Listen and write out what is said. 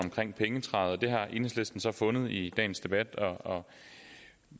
om pengetræet det har enhedslisten så fundet i dagens debat og